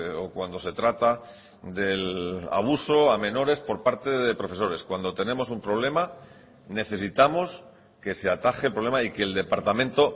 o cuando se trata del abuso a menores por parte de profesores cuando tenemos un problema necesitamos que se ataje el problema y que el departamento